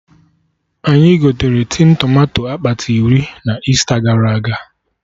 Anyị gotere tin tomato akpati iri na Easter gara aga